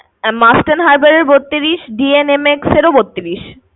Mastern Hybern এর বত্রিশ DNMX এর ও বত্রিশ।